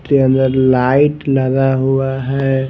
के अंदर लाइट लगा हुआ हैं ।